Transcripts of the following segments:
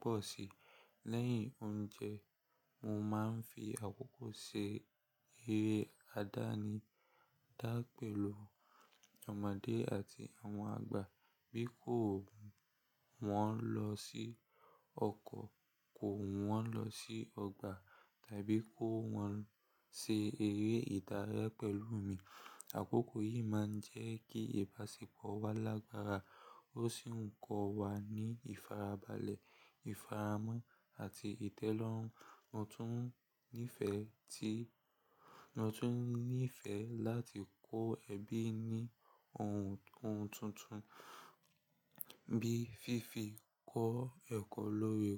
pọ̀ sí. Lẹ́yìn oúnjẹ, mo máa ń fi àkókò ṣe eré adani da pẹ̀lú ọmọdé àti àwọn àgbà. Bí ki wọ́n lọ sí ọkọ̀, ki wọ́n lọ sí ọgbà tàbí ki wọn ṣe eré ìdárayá pẹ̀lú mi. Àkókò yìí máa ń jẹ́ kí ìbáṣepọ̀ wa lágbára, ó sì ń kọ́ wa ní ìfarabalẹ̀, ìfaramọ́ àti ìtẹ́lọ́rùn. Mo tún nífẹ̀ẹ́ tí, mo tún nífẹ̀ẹ́ láti kó ẹbí ní ohun, ohun tuntun bí fífi kọ́ ẹ̀kọ́ lórí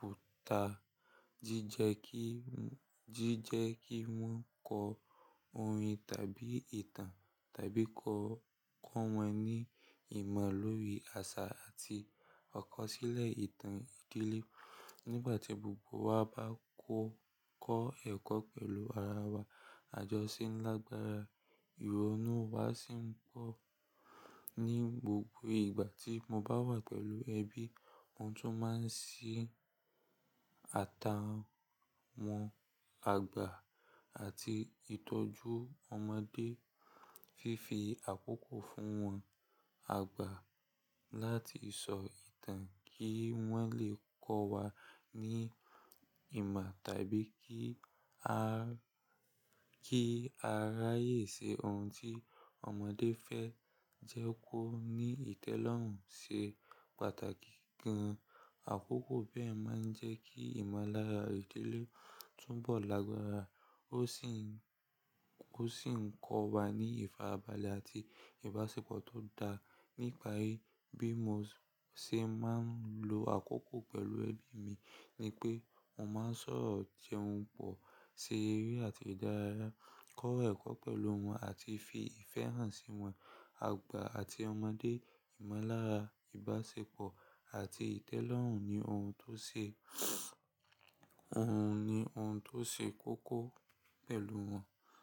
kọ̀mpútà jíjẹ kí wọ́n kọ orin tàbí ìtàn tàbí kọ́, kọ́ wọn ní ìmọ̀ lórí àṣà àti ọ̀kọ̀sílẹ̀ ìtàn ìdílé. Nígbà tí gbogbo wa bá kọ́ ẹ̀kọ́ pẹ̀lú ara wa, àjọṣe ńlá gbára, ìrònú wa sì ń pọ̀. Ni gbogbo ìgbà tí mo bá wà pẹ̀lú ẹbí, mo tún máa ń ṣí ata wọn àgbà àti ìtọ́jú ọmọdé, fífi àkókò fún wọn àgbà láti sọ ìtàn kí wọ́n lè kọ́ wa ní ìmọ̀ tàbí kí a ráyè ṣe ohun tí ọmọdé fẹ́ jẹ́ kó ní ìtẹ́lọ́rùn ṣe pàtàkì gan. Àkókò bẹ́ẹ̀ máa ń jẹ́ kí ìmọ̀lára ìdílé túbọ̀ lágbára, ó sì ń kọ́ wa ní ìfarabalẹ̀ àti ìbáṣepọ̀ tó dára. Nípa e pe mo ṣe máa ń lo àkókò pẹ̀lú ẹbí mi ni pé mo máa ń sọ̀rọ̀, jẹun pọ̀, ṣe eré àti ìdárayá, kọ́ ẹ̀kọ́ pẹ̀lú wọn àti fi ìfẹ́ hàn sí wọn. Àgbà àti ọmọdé, ìmọ̀lára, ìbáṣepọ̀ àti ìtẹ́lọ́rùn ni ohun tó ṣe, ohun ni ohun tó ṣe kókó pẹ̀lú wọn.